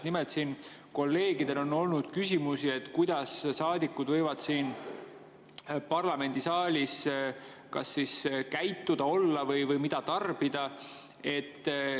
Nimelt on siin kolleegidel olnud küsimusi, kuidas saadikud võivad parlamendisaalis käituda ja olla või mida tarbida.